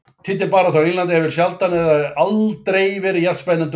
Titilbaráttan á Englandi hefur sjaldan eða aldrei verið jafn spennandi og í ár.